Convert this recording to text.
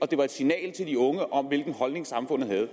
det var et signal til de unge om hvilken holdning samfundet havde